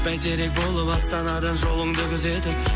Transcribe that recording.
байтерек болып астанадан жолыңды күзетіп